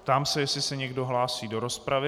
Ptám se, jestli se někdo hlásí do rozpravy.